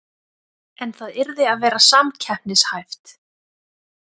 En það yrði að vera samkeppnishæft